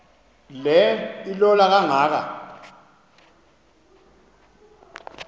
le ilola kangaka